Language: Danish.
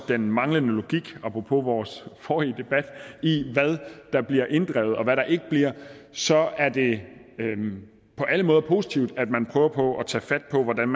den manglende logik apropos vores forrige debat i hvad der bliver inddrevet og hvad der ikke bliver så er det på alle måder positivt at man prøver på at tage fat på hvordan